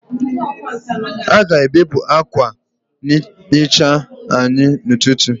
A ga-ebupụ akwa nhicha anyị n'ụtụtụ.